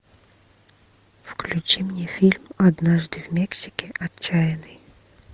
включи мне фильм однажды в мексике отчаянный